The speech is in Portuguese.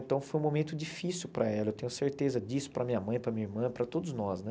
Então foi um momento difícil para ela, eu tenho certeza disso, para minha mãe, para minha irmã, para todos nós, né?